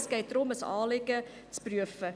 Es geht darum, ein Anliegen zu prüfen.